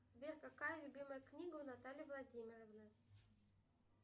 сбер какая любимая книга у натальи владимировны